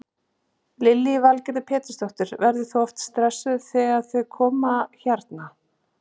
Lillý Valgerður Pétursdóttir: Verða þau oft stressuð þegar þau koma hérna?